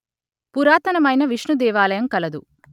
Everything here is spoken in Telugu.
పురాతనమైన విష్ణుదేవాలయం కలదు